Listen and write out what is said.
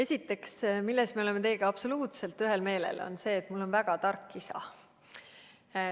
Esiteks, selles me oleme teiega absoluutselt ühel meelel, et mul on väga tark isa.